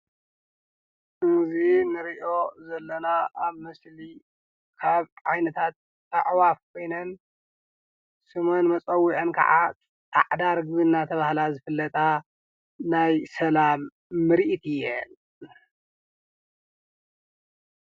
እዚ እንሪኦ ዘለና አብ ምሰሊ ካብ ዓይነታት አዕዋፍ ኮይነን፤ ሹመን መፀዊዒአን ከዓ ፃዕዳ ርግቢ እናተብሃላ ዝፍለጣ ናይ ሰላም ምርኢት እየን፡፡